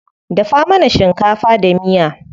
Dafa mana shinkafa da miya.